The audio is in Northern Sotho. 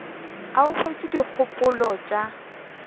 ga a utswe dikgopolo tša